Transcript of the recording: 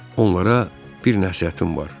Onlara bir nəsihətim var.